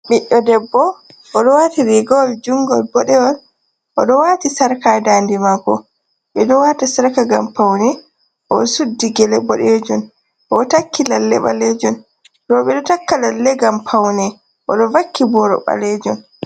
Ɓidɗo debbo oɗo wati rigawol jungol boɗewol, oɗo wati sarka dande maako. Ɓeɗo wata sarka ngam Paune. Oɗo suddi Gele boɗejum, oɗo takki lalle ɓalejum. Ɓeɗo takka lalle ngam Paune. Oɗo vakki Boro ɓalejum.